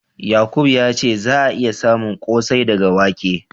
Yakubu ya ce za'a iya samun ƙosai daga wake.